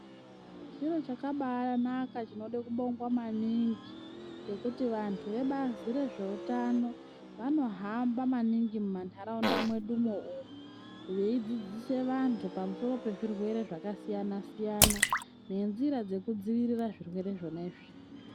Chiro chakabaanaka chinode kubongwa maningi, ngekuti vantu vebazi rwezveutano vanohamba maningi mumantaraunda mwedumwo umwu, veidzidzise vantu pamusoro pezvirwere zvakasiyana-siyana, nenzira dzekudziirira zvirwere zvona izvi .